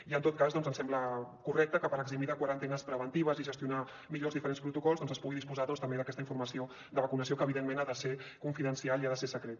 i en tot cas ens sembla correcte que per eximir de quarantenes preventives i gestionar millor els diferents protocols doncs es pugui disposar també d’aquesta informació de vacunació que evidentment ha de ser confidencial i ha de ser secreta